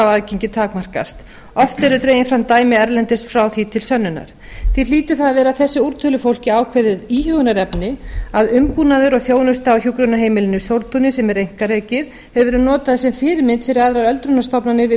aðgengi takmarkast oft eru dregin eða dæmi erlendis frá því til sönnunar því hlýtur það að vera þessu úrtölufólki ákveðið íhugunarefni að umbúnaður og þjónusta á hjúkrunarheimilinu sóltúni sem er einkarekið hefur verið notað sem fyrirmynd fyrir aðrar öldrunarstofnanir við